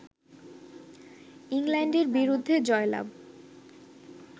ইংল্যান্ডের বিরুদ্ধে জয়লাভ